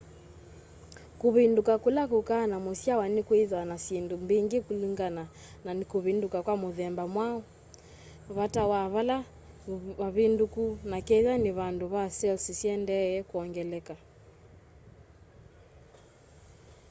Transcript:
kuvinduka kula kukaa na musyawa ni kwithaa na syindũ mbingi kulingana na ni kuvinduka kwa mũthemba wiva vata wa pale vavindũkũ na ketha ni vandu ve cells syiendeeye kuongeleka